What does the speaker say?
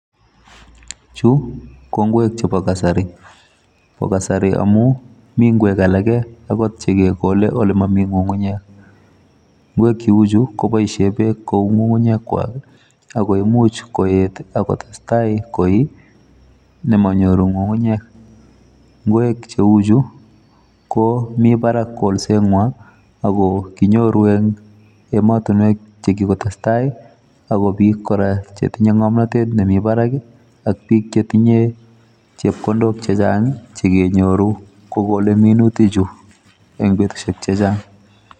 Chuuu KO ngweeek chebo kasari pa.kadari amun Mii komasweek olemakikoleeee olimamii ngungunyek amun mamii ngunguyeek.ko ngunii kepaisheeeee teknolojia nitok